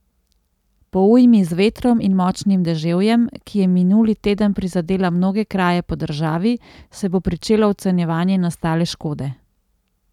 Po ujmi z vetrom in močnim deževjem, ki je minuli teden prizadela mnoge kraje po državi, se bo pričelo ocenjevanje nastale škode.